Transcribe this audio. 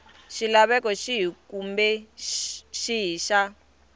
xilaveko xihi kumbe xihi xa